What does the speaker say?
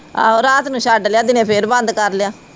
ਆਹੋ ਰਾਤ ਨੂੰ ਛੱਡ ਲਿਆ ਦਿਨੇ ਫਿਰ ਬੰਦ ਕਰਤਾ।